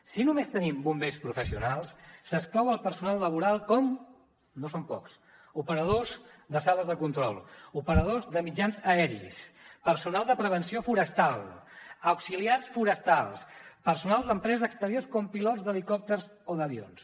si només tenim bombers professionals s’exclou el personal laboral com no són pocs operadors de sales de control operadors de mitjans aeris personal de prevenció forestal auxiliars forestals personal d’empreses exteriors com pilots d’helicòpters o d’avions